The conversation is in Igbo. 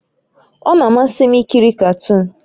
Ọ na-amasị m ikiri katuun